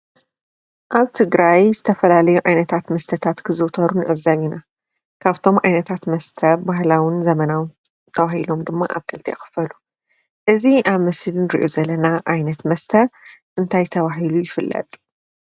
አብ ትግራይ ዝተፈላለዩ ዓይነታት መስተታት ክዝውተሩ ንዕዘብ ኢና። ካፍቶም ዓነታት መስተ ባህላውን ዘመናውን ተባሂሎም ድማ አብ ክልተ ይኽፈሉ:: እዚ አብ ምስሊ እንሪኦ ዘለና ዓይነት መስተ እንታይ ተባሂሉ ይፍለጥ?